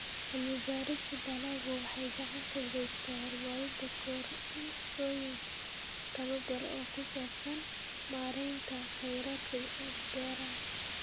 Cilmi-baarista dalaggu waxay gacan ka geysataa horumarinta koorsooyin tababar oo ku saabsan maareynta kheyraadka beeraha.